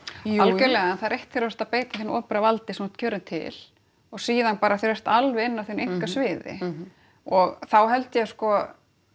jújú algerlega en það er eitt þegar þú ert að beita hinu opinbera valdi sem þú ert kjörinn til og síðan bara þegar þú ert alveg inni á þínu einkasviði og þá held ég að sko